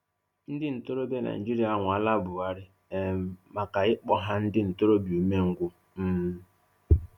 Ndị ntorobịa Naijiria anwaala Buhari um maka ịkpọ ha ndị ntorobịa umengwụ. um